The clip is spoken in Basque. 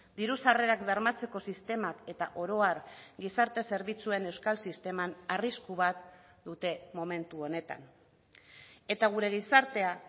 diru sarrerak bermatzeko sistemak eta oro har gizarte zerbitzuen euskal sisteman arrisku bat dute momentu honetan eta gure gizartea